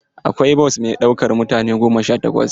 Akwai bos mai ɗaukan mutane goma sha takwas.